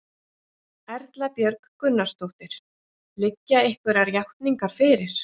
Erla Björg Gunnarsdóttir: Liggja einhverjar játningar fyrir?